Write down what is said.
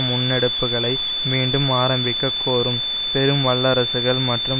முன்னெடுப்புகளை மீண்டும் ஆரம்பிக்கக் கோரும் பெரும் வல்லரசுகள் மற்றும்